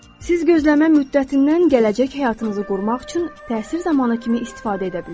Siz gözləmə müddətindən gələcək həyatınızı qurmaq üçün təsir zamanı kimi istifadə edə bilərsiniz.